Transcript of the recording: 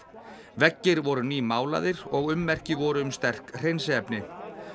veggir voru og ummerki voru um sterk hreinsiefni